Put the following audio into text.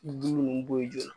Ji nunnu b'o yen joona